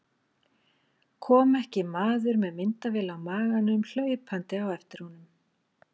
Kom ekki maður með myndavél á maganum hlaupandi á eftir honum.